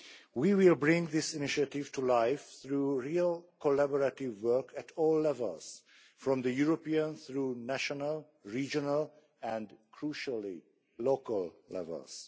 We will bring this initiative to life through real collaborative work at all levels, from the European, through national, regional and, crucially, local levels.